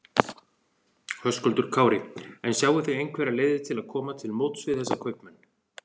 Höskuldur Kári: En sjáið þið einhverjar leiðir til að koma til móts við þessa kaupmenn?